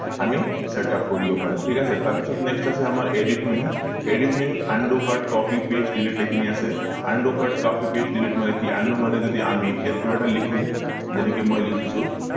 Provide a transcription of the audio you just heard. আমি setup কৰিব পাৰো ঠিক আছে তাৰ পিছত next আছে আমাৰ edit menu edit menu ত undo cut copy past delete এই খিনি আছে undo cut copy past delete মানে কি undo মানে যদি আমি ইয়াত কিবা এটা লিখো যেনেকে মই লিখিছো